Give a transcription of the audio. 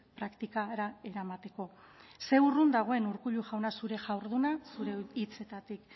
praktikara eramateko ze urrun dagoen urkullu jauna zure jarduna zure hitzetatik